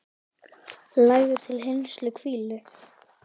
Lagður til hinstu hvílu?